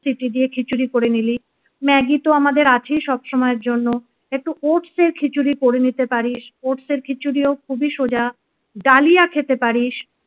City দিয়ে খিচুড়ি করে নিলি ম্যাগি তো আমাদের আছে সব সময়ের জন্য । একটু ওটসের খিচুড়ি করে নিতে পারিস ওটসের খিচুড়ি ও খুবই সোজা ডালিয়া খেতে পারিস